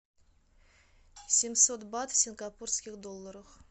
семьсот бат в сингапурских долларах